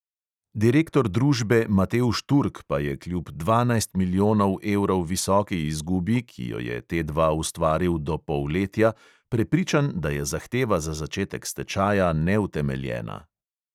Direktor družbe matevž turk pa je kljub dvanajst milijonov evrov visoki izgubi, ki jo je T dva ustvaril do polletja, prepričan, da je zahteva za začetek stečaja neutemeljena.